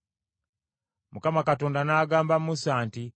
Mukama Katonda n’agamba Musa nti,